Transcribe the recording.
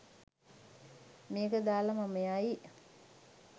මේක දාලා මම යයි